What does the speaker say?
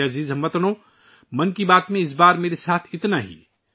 میرے پیارے ہم وطنو،'من کی بات' میں آج میرے ساتھ بس اتنا ہی